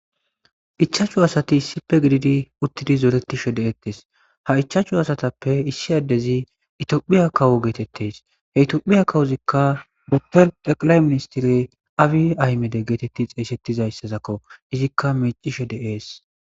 ichaachchu asati issippe gididi uttidi zooretishe de7eettes ha ichaachchu asatappe issi addezi itophiya kawu geetetteys he itophiya kawuzikka boppel deqalay ministire awi aymede geetetti xeesettizayssazakko izikka mecishe de7ees